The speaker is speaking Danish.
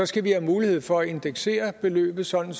skal vi have mulighed for at indeksere beløbet sådan